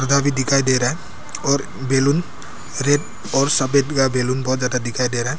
भी दिखाई दे रहा है और बैलून रेड और सफेद का बैलून बहोत ज्यादा दिखाई दे रहा--